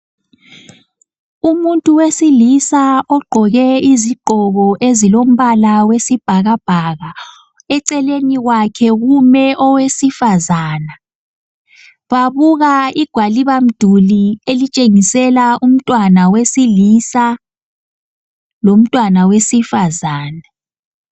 Umuntu wesilisa ogqoke izigqoko ezilombala wesibhaka bhaka eceleni kwakhe kume owesifazana babuka igwaliba mduli elitshengisela umntwana wesilisa, lomntwana wesifazane.